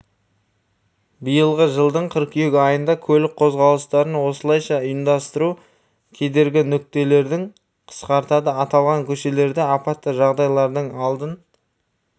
биылғы жылдың қыркүйек айында көлік қозғалыстарын осылайша ұйымдастыру кедергі нүктелерді қысқартады аталған көшелерде апатты жағдайлардың алдын